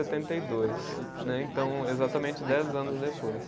e dois, né. Então, exatamente dez anos depois.